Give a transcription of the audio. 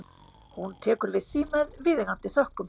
Hún tekur við því með viðeigandi þökkum.